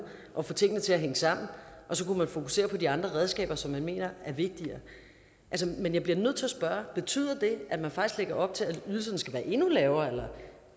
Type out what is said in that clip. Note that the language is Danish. og få tingene til at hænge sammen og så kunne man fokusere på de andre redskaber som man mener er vigtigere men jeg bliver nødt til at spørge betyder det at man faktisk lægger op til at ydelserne skal være endnu lavere